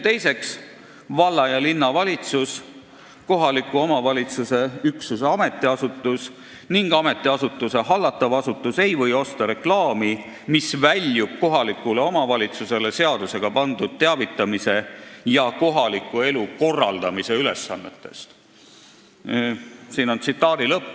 " Teiseks: "Valla- ja linnavalitsus, kohaliku omavalitsuse üksuse ametiasutus ning ametiasutuse hallatav asutus ei või osta reklaami, mis väljub kohalikule omavalitsusele seadusega pandud teavitamise ja kohaliku elu korraldamise ülesannetest.